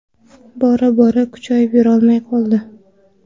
Bora bora kuchayib yurolmay qoldi.